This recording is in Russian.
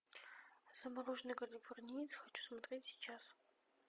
замороженный калифорниец хочу смотреть сейчас